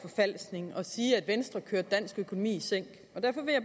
jamen vi